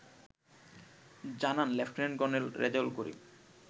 জানান lieutenant colonel Rezaul করিম